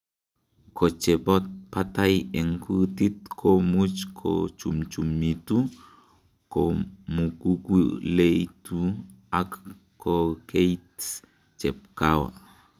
Kochebo batai en kutit komuch kochumchumitu, komukukuleikitu ala koikeit chepkawa.